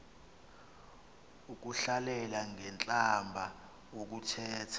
ukuhlalela ngentlamba ukuthetha